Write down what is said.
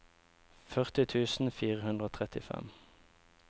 førti tusen fire hundre og trettifem